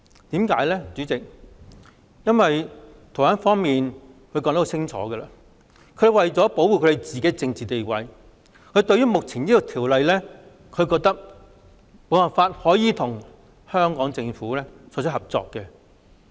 代理主席，原因是台灣當局已清楚表示，為了保護台灣的政治地位，修例亦無法促成台灣與香港政府的合作。